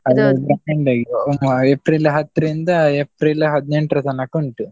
Different ಆಗಿ April ಹತ್ರಿಂದ April ಹದಿನೆಂಟ್ರ ತನಕ ಉಂಟು.